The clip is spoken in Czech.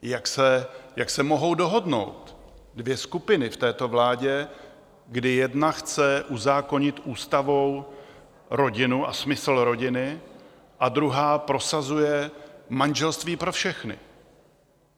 Jak se mohou dohodnout dvě skupiny v této vládě, kdy jedna chce uzákonit ústavou rodinu a smysl rodiny, a druhá prosazuje manželství pro všechny?